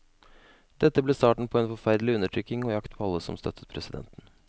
Dette ble starten på en forferdelig undertrykking og jakt på alle som støttet presidenten.